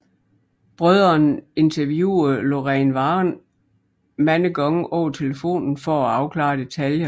Brødrene interviewede Lorraine Warren mange gange over telefonen for at afklare detaljer